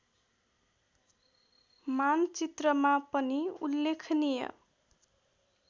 मानचित्रमा पनि उल्लेखनीय